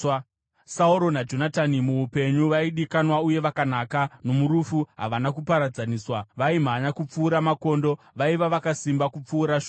“Sauro naJonatani, muupenyu vaidikanwa uye vakanaka, nomurufu havana kuparadzaniswa. Vaimhanya kupfuura makondo, vaiva vakasimba kupfuura shumba.